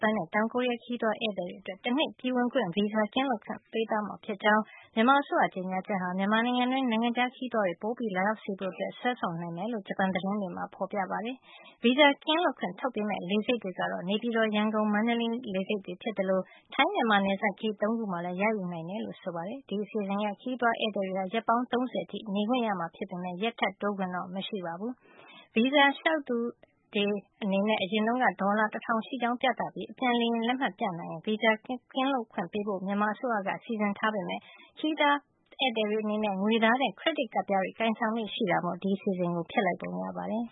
ပန်နဲ့ တောင်ကိုရီးယားက ခရီးသွားဧည့်သည်တွေအတွက် တနှစ် ပြည်ဝင်ခွင့်ဗီဇာကင်းလွတ်ခွင့် ပေးသွားမှာ ဖြစ်ကြောင်း မြန်မာအစိုးရရဲ့ ကြေညာချက်ဟာ မြန်မာနိုင်ငံတွင်း နိုင်ငံခြားခရီးသွားတွေ ပိုပြီးလာရောက်စေဖို့ ဆွဲဆောင်နိုင်မယ်လို့ ဂျပန်သတင်းတွေမှာ ဖေါ်ပြပါတယ်။ ဗီဇာကင်းလွတ်ခွင့် ထုတ်ပေးမယ့် လေဆိပ်တွေကတော့ နေပြည်တော်၊ ရန်ကုန်နဲ့ မန္တလေး လေဆိပ်တွေ ဖြစ်သလို ထိုင်း - မြန်မာ နယ်စပ်ဂိတ် ၄ ခုမှာလည်း ရယူနိုင်မှာ ဖြစ်ကြောင်း ဖေါ်ပြထားပါတယ်။ ဒီအစီအစဉ်အရ ခရီးသွား ဧည့်သည်တွေဟာ ရက် ပေါင်း ၃၀ အထိ နေခွင့်ရမှာဖြစ်ပေမယ့် ရက်ထပ်တိုးခွင့်တော့ မရှိပါဘူး။ အရင်တုန်းကတော့ ခရီးသွား ဗီဇာလျှောက်ထားသူတွေအနေနဲ့ ဒေါ်လာ ၁၀၀၀ ရှိကြောင်းပြသပြီး အပြန်လေယာဉ်လက်မှတ် ပြနိုင်ရင် ဗီဇာကင်းလွတ်ခွင့် ပေးဖို့ မြန်မာအစိုးရက စီစဉ်ထားတာပါ။ ဒါပေမယ့် ခရီးသွားဧည့်သည်တွေအနေနဲ့ ငွေသားထက် ခရက်ဒစ်ကပ်ပြားတွေ ကိုင်ဆောင်လေ့ ရှိတာမို့ အစိုးရက ဒီအစီအစဉ်ကို ပယ်ဖျက်လိုက်ပုံရပါတယ်